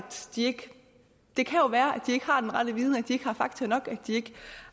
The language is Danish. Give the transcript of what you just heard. de ikke har den rette viden at de ikke har fakta nok